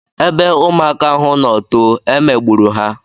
Ebe ụmụaka ahụ no too, e megburu ha